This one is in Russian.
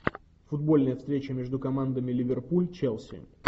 футбольная встреча между командами ливерпуль челси